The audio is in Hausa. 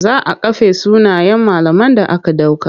Za a kafe sunayen malaman da aka ɗauka.